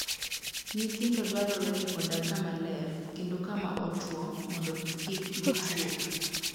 Nyithindo dwarore ni odag kama ler kendo kama otwo mondo kik gituo.